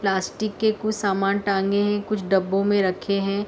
plastic के कुछ सामान टांगे हैं कुछ डब्बों में रखे हैं|